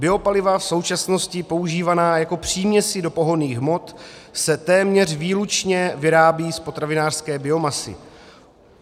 Biopaliva v současnosti používaná jako příměsi do pohonných hmot se téměř výlučně vyrábí z potravinářské biomasy.